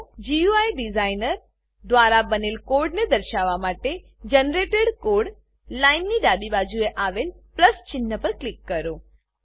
GUI designer GUI designer દ્વારા બનેલ કોડને દર્શાવવા માટે જનરેટેડ કોડ જનરેટેડ કોડ લાઈનની ડાબી બાજુએ આવેલ પ્લસ ચિન્હ પર ક્લિક કરો